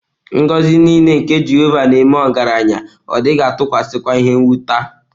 Ngọzi nile nke Jehova nēme ọgaranya, Ọ dighi-atukwasi kwa ihe-nwuta.